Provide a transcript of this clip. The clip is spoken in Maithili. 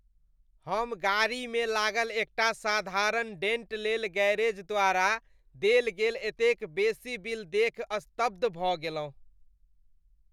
हम गाड़ीमे लागल एकटा साधारण डेंट लेल गैरेज द्वारा देल गेल एतेक बेसी बिल देखि स्तब्ध भऽ गेलहुँ ।